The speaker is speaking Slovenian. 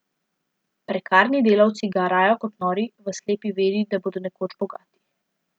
Prekarni delavci garajo kot nori, v slepi veri, da bodo nekoč bogati.